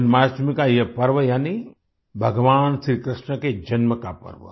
जन्माष्टमी का ये पर्व यानी भगवान श्री कृष्ण के जन्म का पर्व